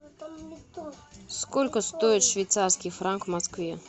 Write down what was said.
сколько стоит швейцарский франк в москве